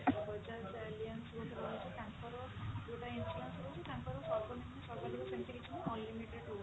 bajaj alliance ଗୋଟେ ରହୁଛି ତାଙ୍କର ଯୋଉଟା insurance ରହୁଛି ତାଙ୍କର ସର୍ବନିମ୍ନ ସର୍ବାଧିକ ସେମିତି କିଛି ନାହିଁ unlimited ରହୁଛି